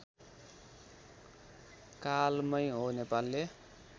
कालमै हो नेपालले